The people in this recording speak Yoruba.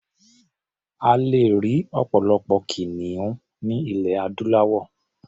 A lè rí ọ̀pọ̀lọpọ̀ kìnìún ní ilẹ̀ adúláwọ̀.